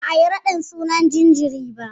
Ba'a yi raɗin sunan jinjirin ba.